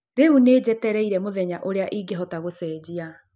Rĩu nĩ jetereire mũthenya ũrĩa ingĩhota gũcenjia